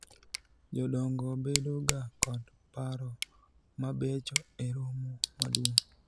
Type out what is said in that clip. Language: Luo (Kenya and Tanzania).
jodongo bedo ga kod paro mabecho e romo maduong'